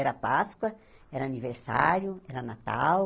Era Páscoa, era aniversário, era Natal.